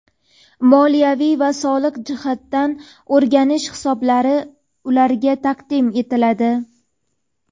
moliyaviy va soliq jihatdan o‘rganish hisobotlari ularga taqdim etiladi.